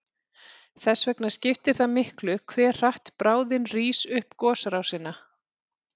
Þess vegna skiptir það miklu hve hratt bráðin rís upp gosrásina.